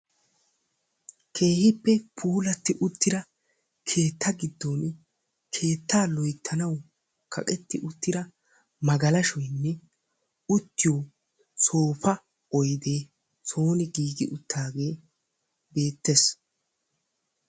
Keehippe puulatti uttida keetta giddon keetta loyttanawu kaqqeti uttida magalashshoynne uttiyo soopa oydde soon giigi uttaage beettees.